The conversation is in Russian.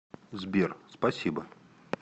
сбер спасибо